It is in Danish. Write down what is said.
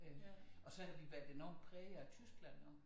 Øh og så havde vi været enormt prægede af Tyskland også